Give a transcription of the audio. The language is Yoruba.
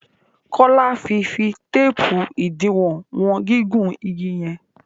Kola fí fí teepu idiwọn wọn gigun ìgi yen.